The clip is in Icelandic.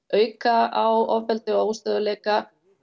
auka á ofbeldi og óstöðugleika